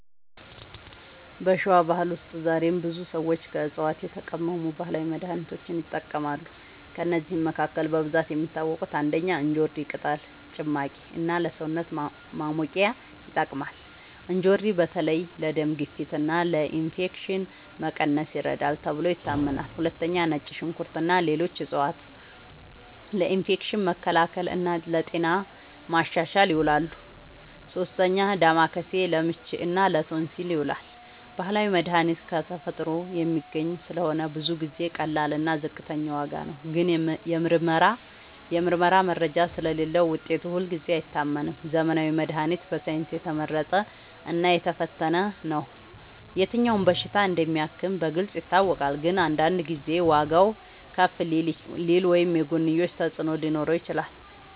በሸዋ ባህል ውስጥ ዛሬም ብዙ ሰዎች ከዕፅዋት የተቀመሙ ባህላዊ መድሃኒቶችን ይጠቀማሉ። ከእነዚህ መካከል በብዛት የሚታወቁት፦ ፩. እንጆሪ ቅጠል ጭማቂ እና ለሰውነት ማሞቂያ ይጠቅማል። እንጆሪ በተለይ ለደም ግፊት እና ለኢንፌክሽን መቀነስ ይረዳል ተብሎ ይታመናል። ፪. ነጭ ሽንኩርት እና ሌሎች ዕፅዋት ለኢንፌክሽን መከላከል እና ለጤና ማሻሻል ይውላሉ። ፫. ዳማከሴ ለምች እና ለቶንሲል ይዉላል። ባህላዊ መድሃኒት ከተፈጥሮ የሚገኝ ስለሆነ ብዙ ጊዜ ቀላል እና ዝቅተኛ ዋጋ ነው። ግን የምርመራ መረጃ ስለሌለዉ ውጤቱ ሁልጊዜ አይታመንም። ዘመናዊ መድሃኒት በሳይንስ የተመረጠ እና የተፈተነ ነው። የትኛው በሽታ እንደሚያክም በግልጽ ይታወቃል። ግን አንዳንድ ጊዜ ዋጋዉ ከፍ ሊል ወይም የጎንዮሽ ተፅዕኖ ሊኖረው ይችላል።